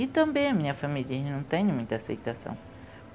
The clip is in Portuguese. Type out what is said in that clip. E também a minha família não tem muita aceitação.